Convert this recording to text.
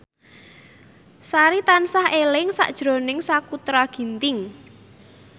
Sari tansah eling sakjroning Sakutra Ginting